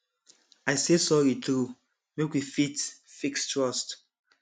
i say sorry true make we fit fix trust